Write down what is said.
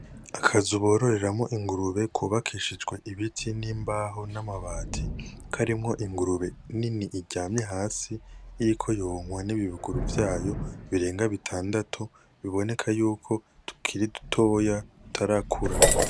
Akazu bororeramo ingurube kubakishijwe ibiti n’imbaho n’amabati. Karimwo ingurube nini iryamye hasi, iriko yonkwa n’ibibuguru vyayo birenga bitandatu, biboneka yuko tukiri dutoya dutarakura.